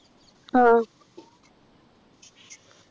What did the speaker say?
ആഹ്